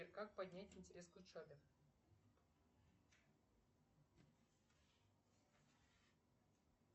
как поднять интерес к учебе